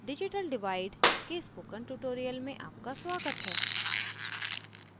digital divide के spoken tutorial में आपका स्वागत है